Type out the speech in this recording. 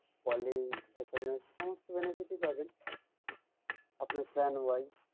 callingSMS সমস্ত benefit ই পাবেন আপনার plan wise